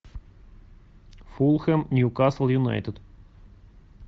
фулхэм ньюкасл юнайтед